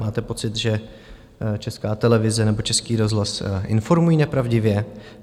Máte pocit, že Česká televize nebo Český rozhlas informují nepravdivě?